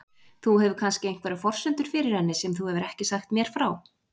Þú hefur kannski einhverjar forsendur fyrir henni sem þú hefur ekki sagt mér frá?